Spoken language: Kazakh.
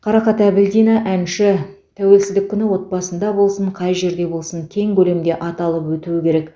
қарақат әбілдина әнші тәуелсіздік күні отбасында болсын қай жерде болсын кең көлемде аталып өтуі керек